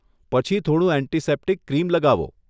પછી થોડું antiseptic cream લગાવો.